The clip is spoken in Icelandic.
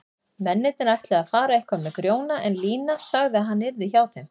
Mennirnir ætluðu að fara eitthvað með Grjóna en Lína sagði að hann yrði hjá þeim.